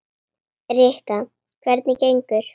Rikka, hvernig gengur?